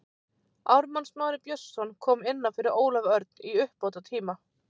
Ármann Smári Björnsson kom inná fyrir Ólaf Örn í uppbótartíma.